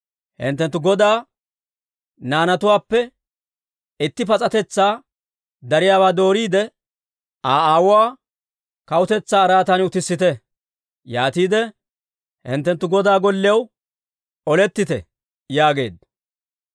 hinttenttu godaa naanatuwaappe itti pas'atetsaa dariyaawaa dooriide, Aa aawuwaa kawutetsaa araatan utissite. Yaatiide hinttenttu godaa gollew olettite» yaageedda.